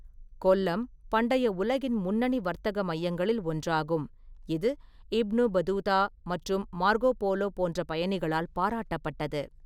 கொல்லம் பண்டைய உலகின் முன்னணி வர்த்தக மையங்களில் ஒன்றாகும், இது இப்னு பதூதா மற்றும் மார்கோ போலோ போன்ற பயணிகளால் பாராட்டப்பட்டது.